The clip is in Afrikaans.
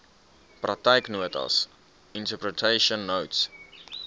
praktyknotas interpretation notes